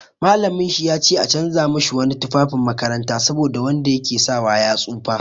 Mallaminsa ya ce a canja mashi wani tufafin makaranta saboda wanda ya ke sawa ya tsufa.